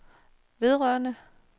vedrørende